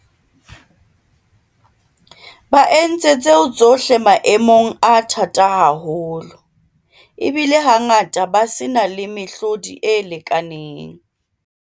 Ba entse tseo tsohle maemong a thata haholo, ebile hangata ba se na le mehlodi e lekaneng.